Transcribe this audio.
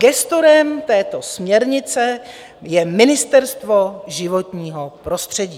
Gestorem této směrnice je Ministerstvo životního prostředí.